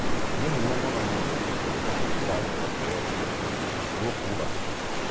"Ni hinya mũno niĩ gwĩtĩkia hĩko kĩu kĩrarĩ gĩa kwĩyendera" Thuo kuuga.